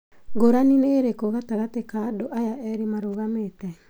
Ngũrani nĩ ĩrĩkũ gatagati ka andũ aya erĩ merũgamĩtie?